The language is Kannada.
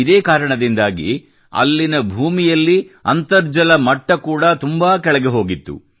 ಇದೇ ಕಾರಣದಿಂದಾಗಿ ಅಲ್ಲಿನ ಭೂಮಿಯಲ್ಲಿ ಅಂತರ್ಜಲ ಮಟ್ಟ ಕೂಡ ತುಂಬಾ ಕೆಳಗೆ ಹೋಗಿತ್ತು